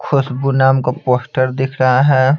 खुशबू नाम का पोस्टर दिख रहा है।